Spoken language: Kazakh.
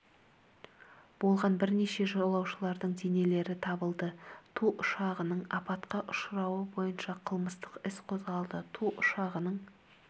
болған бірнеше жолаушылардың денелері табылды ту ұшағының апатқа ұшырауы бойынша қылмыстық іс қозғалды ту ұшағының